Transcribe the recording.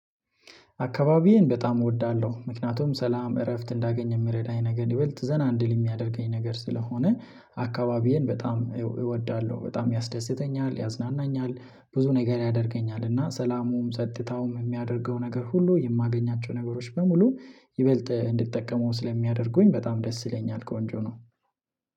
አካባቢዬን በጣም እወዳለሁ ምክንያቱም ሰላም እረፍት እንዳገኝ የምረዳኝ ነገር ይበልጥ ዘና እንድል የሚያደርገኝ ነገር ስለሆነ አካባቢዬን በጣም እወዳለሁ በጣም ያስደስተኛል ያዝናናኛል። ብዙ ነገር ያደርገኛል እና ሰላሙም ጸጥታውም የሚያደርገው ነገር ሁሉ የማገኛቸው ነገሮች በሙሉ ይበልጥ እንድትጠቀመው ስለሚያደርጉኝ በጣም ደስ ይለኛል ቆንጆ ነው።